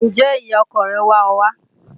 Ǹjẹ́ ìyá ọkọ rẹ̀ wá ọ wá?